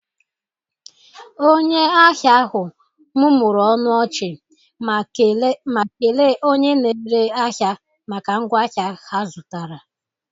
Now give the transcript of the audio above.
Onye ahịa ahụ mụmụrụ ọnụ ọchị, ma kele onye na-ere ahịa maka ngwa ahịa ha zụtara